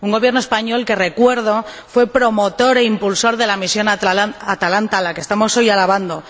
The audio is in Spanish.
Un Gobierno español que recuerdo fue promotor e impulsor de la misión Atalanta, a la que estamos hoy alabando.